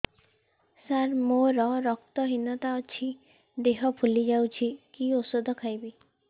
ସାର ମୋର ରକ୍ତ ହିନତା ଅଛି ଦେହ ଫୁଲି ଯାଉଛି କି ଓଷଦ ଖାଇବି